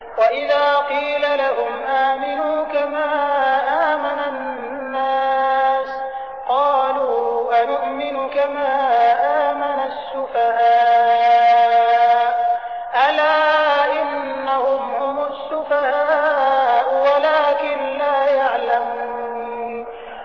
وَإِذَا قِيلَ لَهُمْ آمِنُوا كَمَا آمَنَ النَّاسُ قَالُوا أَنُؤْمِنُ كَمَا آمَنَ السُّفَهَاءُ ۗ أَلَا إِنَّهُمْ هُمُ السُّفَهَاءُ وَلَٰكِن لَّا يَعْلَمُونَ